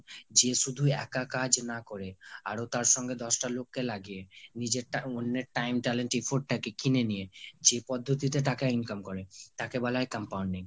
যে শুধু এক কাজ না করে আরো তার সঙ্গে দশ টা লোক কে লাগিয়ে, নিজের টা, অন্যের time talent afford তাকে কিনে নিয়ে যে পদ্ধতিতে টাকা income করে তাকে বলা হয় compounding